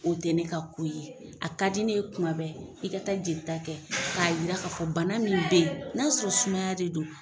O te ne ka ko ye. A ka di ne ye kuma bɛɛ i ka taa jelita kɛ k'a yira k'a fɔ bana min be ye, n'a y'a sɔrɔ sumaya de don